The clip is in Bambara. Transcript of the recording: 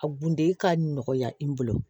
A gundo ka nɔgɔya i bolo